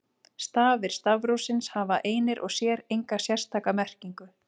Stafir stafrófsins hafa einir og sér enga sérstaka merkingu.